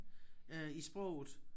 Øh i sproget